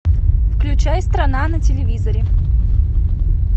включай страна на телевизоре